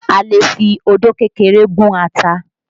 A lè fi odó kékeré gún ata